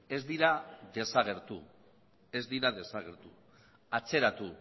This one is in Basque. ez dira desagertu atzeratu